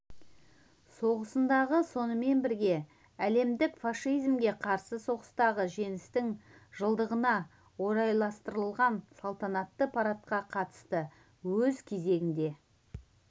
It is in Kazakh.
соғысындағы сонымен бірге әлемдік фашизмге қарсы соғыстағы жеңістің жылдығына орайластырылған салтанатты парадқа қатысты өз кезегінде